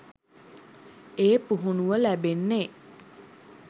ඒ පුහුණුව ලැබෙන්නෙ.